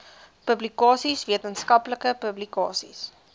publikasies wetenskaplike publikasies